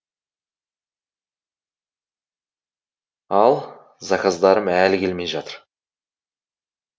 ал заказдарым әлі келмей жатыр